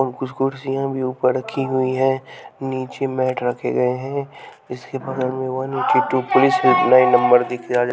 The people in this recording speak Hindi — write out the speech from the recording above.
और कुछ कुर्सियाँ भी ऊपर रखी हुई हैं नीचे मैट रखे गए हैं इसके बगल में one eighty two police number दिख--